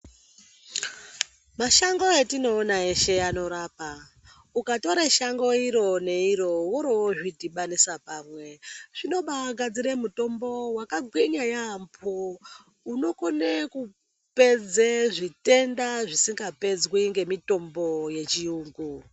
Mashango atinoona eshe anorapa ukatora Shango iro neiro woro wozvi dhimanisi pamwe zvinobaa gadzira mitombo yakagwinya yambo unokone kupedza zvitenda zvisinga pedzwi nemitombo yechiyungu.